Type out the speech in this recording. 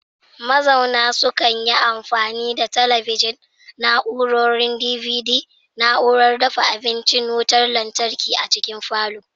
Mazauna sukan yi amfani da talabijin, na'urorin DVD, na'urar dafa abincin wutar lantarki a cikin falon